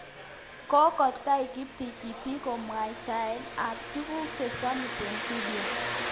Kokotai kiptingting'it kamwaitaet ab tuguk che samis eng video.